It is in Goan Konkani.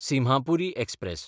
सिम्हापुरी एक्सप्रॅस